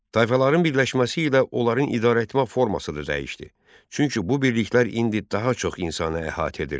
Tayfaların birləşməsi ilə onların idarəetmə forması da dəyişdi, çünki bu birliklər indi daha çox insanı əhatə edirdi.